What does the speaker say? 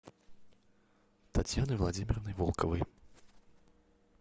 татьяной владимировной волковой